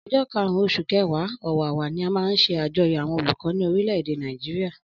Ọjọ karun osun kẹwa/ọwawa, ni a má nṣe ajoyọ awọn olukọ ni orileede nigeria